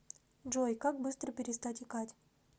джой как быстро перестать икать